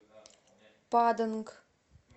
паданг